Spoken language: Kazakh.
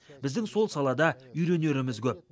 біздің сол салада үйренеріміз көп